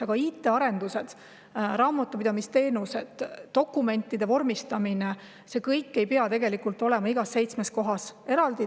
Aga IT-arendused, raamatupidamisteenused, dokumentide vormistamine – see kõik ei pea olema seitsmes kohas eraldi.